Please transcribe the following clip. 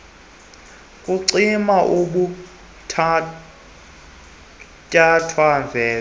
kwenciba bophuthatswana venda